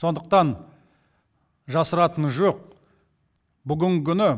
сондықтан жасыратыны жоқ бүгінгі күні